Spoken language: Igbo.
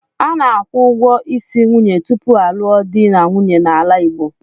A na-akwụ ụgwọ isi nwunye tupu a lụọ di na nwunye n'ala Igbo.